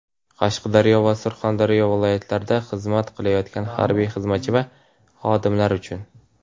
Qashqadaryo va Surxondaryo viloyatlarida xizmat qilayotgan harbiy xizmatchi va xodimlar uchun;.